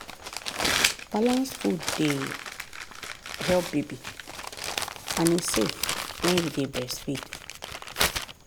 balanced food dey help baby and e safe when you dey breastfeed.